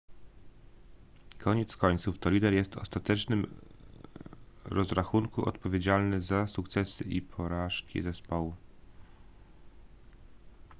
koniec końców to lider jest w ostatecznym rozrachunku odpowiedzialny za sukcesy i porażki zespołu